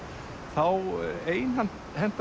þá einhenti